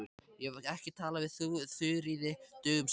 Ég hef ekki talað við Þuríði dögum saman.